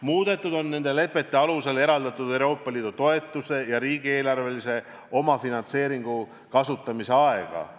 Muudetud on nende lepete alusel eraldatud Euroopa Liidu toetuse ja riigieelarvelise omafinantseeringu kasutamise aega.